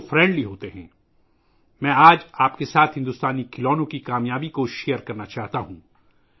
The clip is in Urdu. آج میں آپ کے ساتھ انڈین ٹوائز کی کامیابیاں بانٹنا چاہتا ہوں